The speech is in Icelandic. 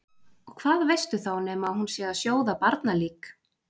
Og hvað veistu þá nema að hún sé að sjóða barnalík?